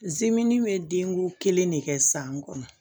bɛ den ko kelen de kɛ san kɔnɔ